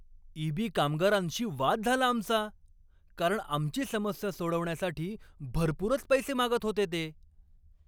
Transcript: EB. कामगारांशी वाद झाला आमचा, कारण आमची समस्या सोडवण्यासाठी भरपूरच पैसे मागत होते ते.